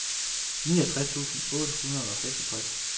niogtres tusind otte hundrede og seksogtres